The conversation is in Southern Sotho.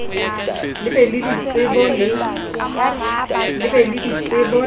le be le ditsebo le